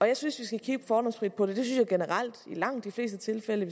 jeg synes vi skal kigge fordomsfrit på det det synes jeg generelt i langt de fleste tilfælde